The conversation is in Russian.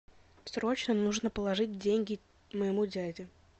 срочно нужно положить деньги моему дяде